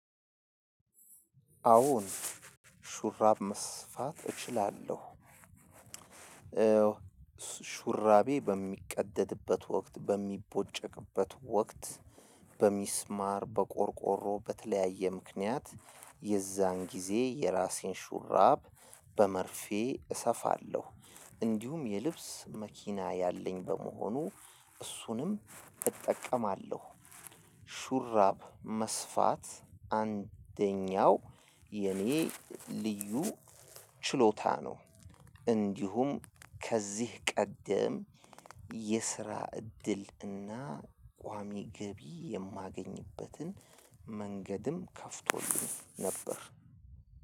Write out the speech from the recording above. አዎን ሹራብ መስፋት እችላለሁ። ሹራቤ በሚቀደድበት ወቅት በሚቦጨቅበት ወቅት። በሚስማር በቆርቆሮ በተለያየ ምክንያት። የዛን ጊዜ የራሴን ሹራብ በመርፌ እሰፋለሁ። እንዲሁም የልብስ መኪና ያለኝ በመሆኑ እሱንም እጠቀማለሁ። ሹራብ መስፋት አንደኛው የኔ ልዩ ችሎታ ነው። እንዲሁም ከዚህ ቀደም የስራ እድል እና ቋሚ ገቢ የማገኝበትን መንገድም ከፍቶልን ነበር።